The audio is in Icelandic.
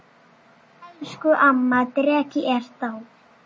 Elsku amma dreki er dáin.